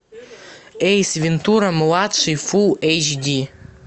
эйс вентура младший фул эйч ди